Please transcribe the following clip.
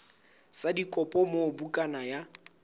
sa dikopo moo bukana ya